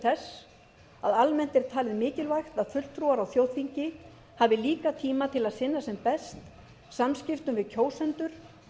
þess að almennt er talið mikilvægt að fulltrúar á þjóðþingi hafi líka tíma til að sinna sem best samskiptum við kjósendur